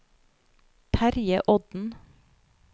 Terje Odden